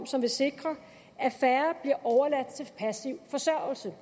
som vil sikre at færre bliver overladt til passiv forsørgelse